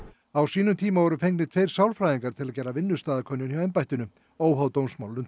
á sínum tíma voru fengnir tveir sálfræðingar til að gera vinnustaðakönnun hjá embættinu óháð dómsmálunum